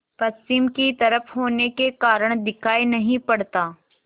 पश्चिम की तरफ होने के कारण दिखाई नहीं पड़ता